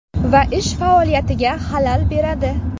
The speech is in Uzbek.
Va ish faoliyatiga xalal beradi.